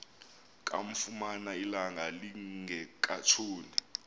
kamfumana ilanga lingekatshoni